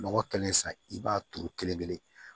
Nɔgɔ kɛlen sa i b'a turu kelen-kelen